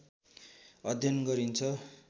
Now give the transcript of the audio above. अध्ययन गरिन्छ